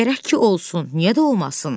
Gərək ki olsun, niyə də olmasın?